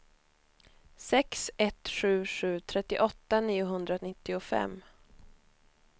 sex ett sju sju trettioåtta niohundranittiofem